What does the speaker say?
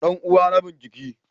Dan uwa rabin jiki